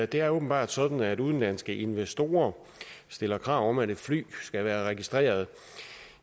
det er åbenbart sådan at udenlandske investorer stiller krav om at et fly skal være registreret